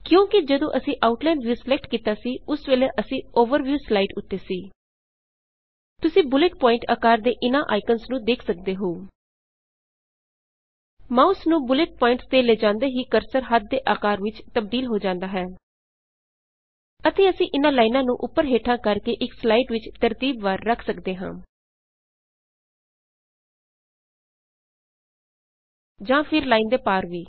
ਕਿਉਂ ਕਿ ਜਦੋਂ ਅਸੀ ਆਊਟਲਾਇਨ ਵਿਯੂ ਸਿਲੈਕਟ ਕੀਤਾ ਸੀ ਉਸ ਵੇਲੇ ਅਸੀ ਓਵਰਵਿਯੂ ਸਲਾਈਡ ਉੱਤੇ ਸੀ ਤੁਸੀ ਬੁਲੇੱਟ ਪੁਆਇੰਟ ਆਕਾਰ ਦੇ ਇਨ੍ਹਾਂ ਆਇਕਨਜ਼ ਨੂੰ ਦੇਖ ਸਕਦੇ ਹੋ ਮਾਊਸ ਨੂੰ ਬੁਲੇੱਟ ਪੁਆਇੰਟਸ ਤੇ ਲੈਜਾਂਦੇ ਹੀ ਕਰਸਰ ਹੱਥ ਦੇ ਆਕਾਰ ਵਿੱਚ ਤਬਦੀਲ ਹੋ ਜਾਂਦਾ ਹੈ ਅਤੇ ਅਸੀ ਇਨ੍ਹਾਂ ਲਾਇਨਾਂ ਨੂੰ ਉੱਪਰ ਹੇਠਾਂ ਕਰ ਕੇ ਇਕ ਸਲਾਈਡ ਵਿਚ ਤਰਤੀਬ ਵਾਰ ਰੱਖ ਸਕਦੇ ਹਾਂ ਜਾਂ ਫੇਰ ਲਾਈਨ ਦੇ ਪਾਰ ਵੀ